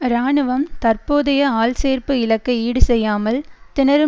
இராணுவம் தற்போதைய ஆள்சேர்ப்பு இலக்கை ஈடு செய்யாமல் திணறும்